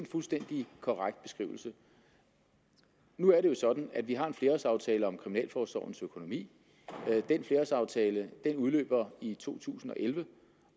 fuldstændig korrekt beskrivelse nu er det jo sådan at vi har en flerårsaftale om kriminalforsorgens økonomi den flerårsaftale udløber i to tusind og elleve